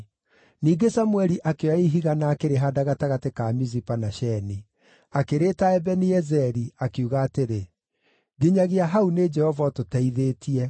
Ningĩ Samũeli akĩoya ihiga na akĩrĩhaanda gatagatĩ ka Mizipa na Sheni. Akĩrĩĩta Ebeni-Ezeri, akiuga atĩrĩ, “Nginyagia hau nĩ Jehova ũtũteithĩtie.”